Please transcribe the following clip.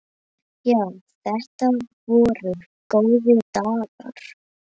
Já, þetta voru góðir dagar.